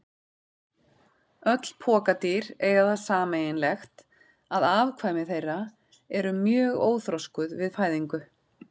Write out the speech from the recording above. Öll pokadýr eiga það sameiginlegt að afkvæmi þeirra eru mjög óþroskuð við fæðingu.